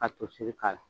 Ka toseri k'a la